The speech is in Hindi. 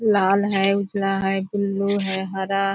लाल है उजला है बुलु है हरा --